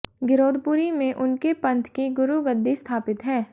गिरौदपुरी में उनके पंथ की गुरु गद्दी स्थापित है